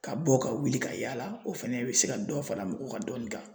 Ka bɔ ka wuli ka yala o fana bɛ se ka dɔ fara mɔgɔ ka dɔnni kan.